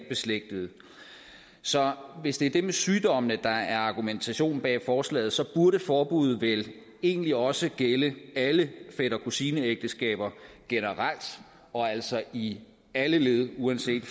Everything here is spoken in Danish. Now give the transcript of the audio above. beslægtede så hvis det er det med sygdommene der er argumentationen bag forslaget burde forbuddet vel egentlig også gælde alle fætter kusine ægteskaber generelt og altså i alle led uanset